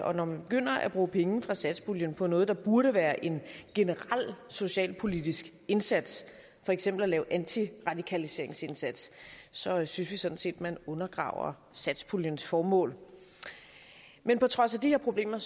og når man begynder at bruge penge fra satspuljen på noget der burde være en generel socialpolitisk indsats for eksempel at lave antiradikaliseringsindsats så synes vi sådan set at man undergraver satspuljens formål men på trods af de her problemer